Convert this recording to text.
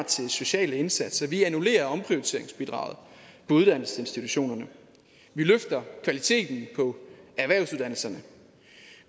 til sociale indsatser vi annullerer omprioriteringsbidraget på uddannelsesinstitutionerne vi løfter kvaliteten på erhvervsuddannelserne